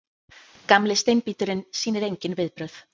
Gamli steinbíturinn sýnir engin viðbrögð.